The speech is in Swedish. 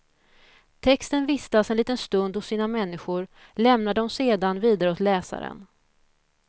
Texten vistas en liten stund hos sina människor, lämnar dem sedan vidare åt läsaren.